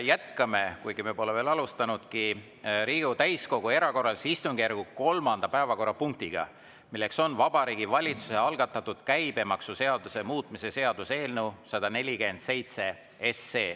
Jätkame, kuigi me pole veel alustanudki, Riigikogu täiskogu erakorralise istungjärgu kolmanda päevakorrapunktiga, milleks on Vabariigi Valitsuse algatatud käibemaksuseaduse muutmise seaduse eelnõu 147.